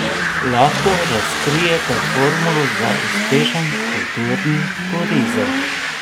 Lahko razkrijete formulo za uspešen kulturni turizem?